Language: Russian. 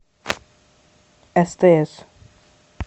стс